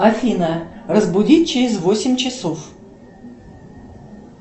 афина разбудить через восемь часов